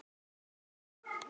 Mynd: Teitur Jónsson.